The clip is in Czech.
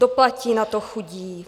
Doplatí na to chudí!